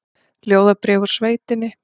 Ljóðabréf úr sveitinni